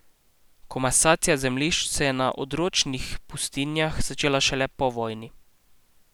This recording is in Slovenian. Komasacija zemljišč se je na odročnih pustinjah začela šele po vojni.